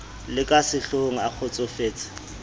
le ka sehlohong a kgotsofetse